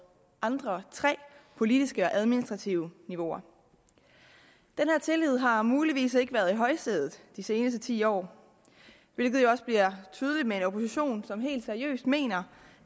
andre tre politiske og administrative niveauer den tillid har muligvis ikke været i højsædet de seneste ti år hvilket jo også bliver tydeligt med en opposition som helt seriøst mener